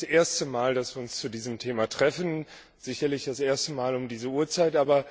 Es ist nicht das erste Mal, dass wir uns zu diesem Thema treffen, sicherlich das erste Mal um diese Uhrzeit.